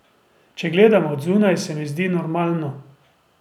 Če gledam od zunaj, se mi zdi normalno.